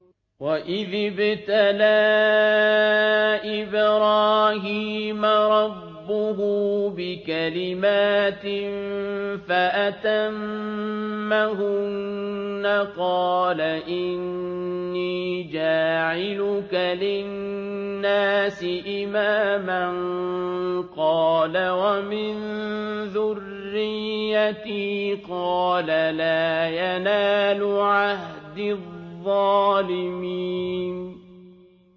۞ وَإِذِ ابْتَلَىٰ إِبْرَاهِيمَ رَبُّهُ بِكَلِمَاتٍ فَأَتَمَّهُنَّ ۖ قَالَ إِنِّي جَاعِلُكَ لِلنَّاسِ إِمَامًا ۖ قَالَ وَمِن ذُرِّيَّتِي ۖ قَالَ لَا يَنَالُ عَهْدِي الظَّالِمِينَ